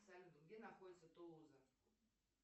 салют где находится тулуза